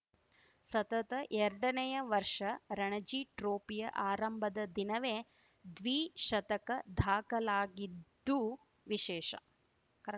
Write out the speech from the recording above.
ಸತತ ಎರಡನೇಯ ವರ್ಷ ರಣಜಿ ಟ್ರೋಫಿಯ ಆರಂಭದ ದಿನವೇ ದ್ವಿಶತಕ ದಾಖಲಾಗಿದ್ದು ವಿಶೇಷ ಕರಾಕ್